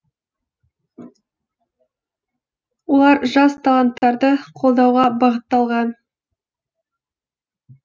олар жас таланттарды қолдауға бағытталған